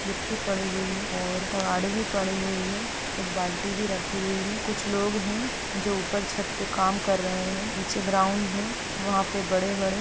मिट्टी पड़े हुए है और तगाड़े भी पड़े हुए है एक बाल्टी भी रखी हुई है कुछ लोग है जो ऊपर छत पे काम कार रहे है नीचे ग्राउन्ड है वहाँ पे बड़े- बड़े --